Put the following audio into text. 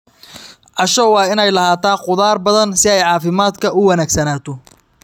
Casho waa in ay lahaataa khudaar badan si ay caafimaadka u wanaagsanaato.